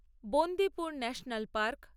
Bandipur national park